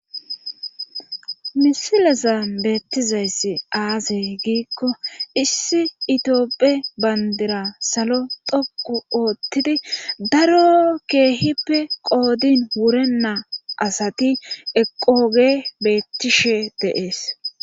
misilezan beettizayssi aze giikko issi itioophe bandira salo dhoqu oottidi daro keehippe qoodin wurennaa asati eqoge bettishe de'ees